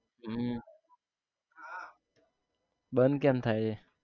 હમ બંધ કેમ થાય છે?